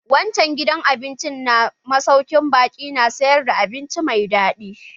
Wancan gidan abincin na masaukin baƙi na sayar da abinci mai daɗi.